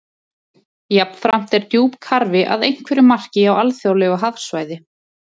Jafnframt er djúpkarfi að einhverju marki á alþjóðlegu hafsvæði.